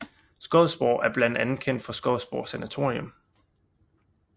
Skodsborg er blandt andet kendt for Skodsborg Sanatorium